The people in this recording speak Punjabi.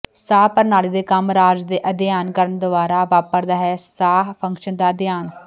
ਸਾਹ ਪ੍ਰਣਾਲੀ ਦੇ ਕੰਮ ਰਾਜ ਦੇ ਅਧਿਐਨ ਕਰਨ ਦੁਆਰਾ ਵਾਪਰਦਾ ਹੈ ਸਾਹ ਫੰਕਸ਼ਨ ਦਾ ਅਧਿਐਨ